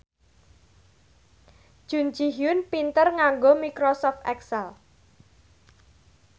Jun Ji Hyun pinter nganggo microsoft excel